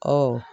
Ɔ